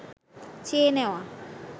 চেয়ে নেওয়া